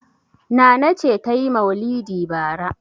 Nana ce ta yi maulidi bara.